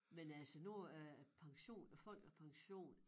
Men altså nu er pension æ folkepension